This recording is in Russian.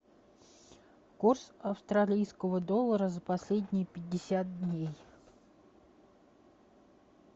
курс австралийского доллара за последние пятьдесят дней